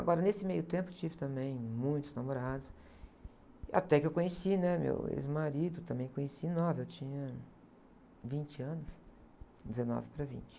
Agora, nesse meio tempo, tive também muitos namorados, até que eu conheci, né, meu ex-marido, também conheci, nova, eu tinha vinte anos, dezenove para vinte.